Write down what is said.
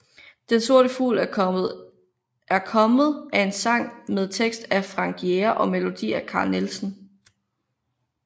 Den sorte fugl er kommet er en sang med tekst af Frank Jæger og melodi af Carl Nielsen